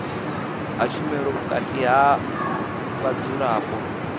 ha tshumelo vhukati ha vhadzulapo